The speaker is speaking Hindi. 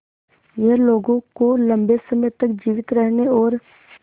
यह लोगों को लंबे समय तक जीवित रहने और